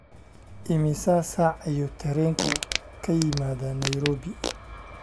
Immisa saac ayuu tareenku ka yimaadaa nairobi?